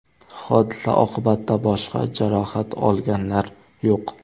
Hodisa oqibatida boshqa jarohat olganlar yo‘q.